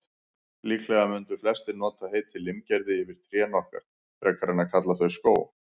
Líklega mundu flestir nota heitið limgerði yfir trén okkar, frekar en að kalla þau skóg.